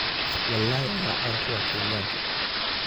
Walai ayaa caan ku ah Kenyaanka.